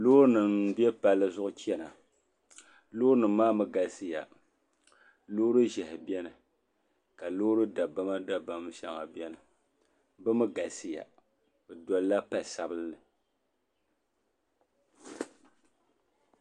Loori nim n bɛ palli zuɣu chɛna loori nim maa galisiya loori ʒiɛhi biɛni ka loori dabam dabam shɛŋa biɛni bi mii galisiya bi dolila pali sabinli